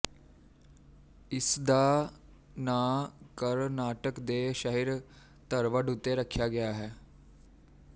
ਇਸਦਾ ਨਾਂ ਕਰਨਾਟਕ ਦੇ ਸ਼ਹਿਰ ਧਰਵਡ ਉੱਤੇ ਰੱਖਿਆ ਗਿਆ ਹੈ